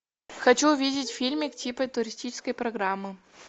хочу увидеть фильмик типа туристической программы